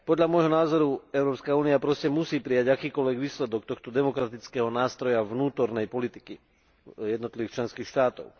Podľa môjho názoru Európska únia proste musí prijať akýkoľvek výsledok tohto demokratického nástroja vnútornej politiky jednotlivých členských štátov.